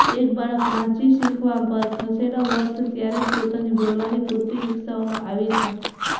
એક બાળક વાંચી શીખવા પર ખસેડો વર્થ ત્યારે જ પોતાની બોલવાની પૂરતી વિકસાવવામાં આવી છે